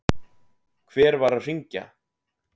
Hver var að hringja?